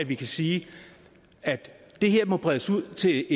vi kan sige at det her må bredes ud til